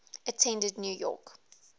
attended new york